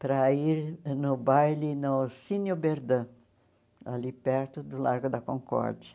para ir no baile no Ossínio Berdã, ali perto do Largo da Concórdia.